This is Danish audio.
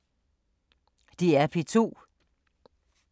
DR P2